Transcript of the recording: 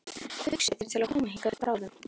Hugsið þér til að koma hingað upp bráðum?